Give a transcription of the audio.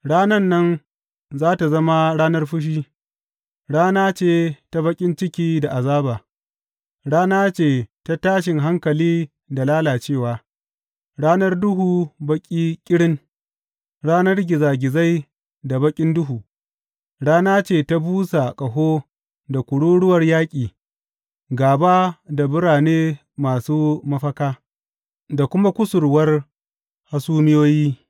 Ranan nan za tă zama ranar fushi, rana ce ta baƙin ciki da azaba, rana ce ta tashin hankali da lalacewa, ranar duhu baƙi ƙirin, ranar gizagizai da baƙin duhu, rana ce ta busa ƙaho da kururuwar yaƙi gāba da birane masu mafaka, da kuma kusurwar hasumiyoyi.